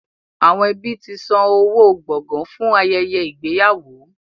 Àwọn ẹbí ti san owó gbọ̀gàn fún ayẹyẹ ìgbéyàwó.